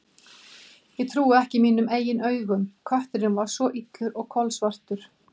Ég trúði ekki mínum eigin augum: kötturinn var svo illur og kolsvartur.